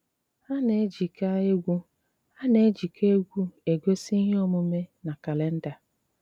Á ná-éjíkà égwú Á ná-éjíkà égwú égosi íhé ómùmé ná kálénda.